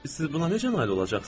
Siz buna necə nail olacaqsınız?